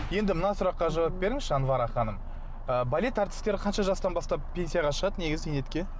енді мына сұраққа жауап беріңізші анвара ханым ы балет әртістері қанша жастан бастап пенсияға шығады негізі зейнетке